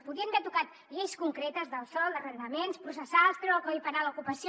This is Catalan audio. podien haver tocat lleis concretes del sòl d’arrendaments processals treure del codi penal l’ocupació